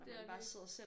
Det er det